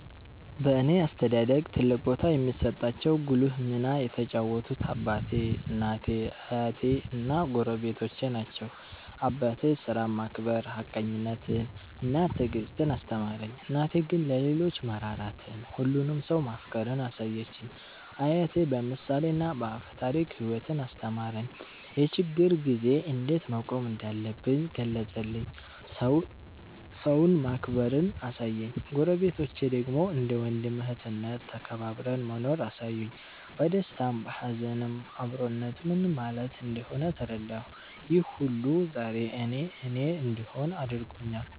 በእኔ አስተዳደግ ትልቅ ቦታ የሚሰጣቸው ጉልህ ሚና የተጫወቱት አባቴ፣ እናቴ፣ አያቴ እና ጎረቤቶቼ ናቸው። አባቴ ሥራን ማክበር፣ ሀቀኝነትን እና ትዕግስትን አስተማረኝ። እናቴ ግን ለሌሎች መራራትን፣ ሁሉንም ሰው ማፍቀርን አሳየችኝ። አያቴ በምሳሌና በአፈ ታሪክ ሕይወትን አስተማረኝ፤ የችግር ጊዜ እንዴት መቆም እንዳለብኝ ገለጸልኝ፤ ሰውን ማክበርንም አሳየኝ። ጎረቤቶቼ ደግሞ እንደ ወንድም እህትነት ተከባብረን መኖርን አሳዩኝ፤ በደስታም በሀዘንም አብሮነት ምን ማለት እንደሆነ ተረዳሁ። ይህ ሁሉ ዛሬ እኔ እኔ እንድሆን አድርጎኛል።